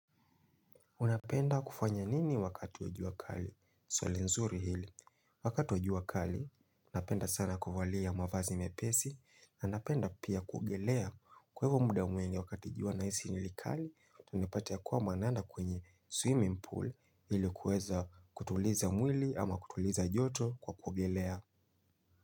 Unapenda kufanya nini wakati wa jua kali? Swali nzuri hili. Wakati wa jua kali, napenda sana kuvalia mavazi mepesi. Na napenda pia kuogelea. Kwa hivo muda mwingi wakati jua nahisi nile kali, unapata ya kwamba naenda kwenye swimming pool ili kuweza kutuliza mwili ama kutuliza joto kwa kuogelea.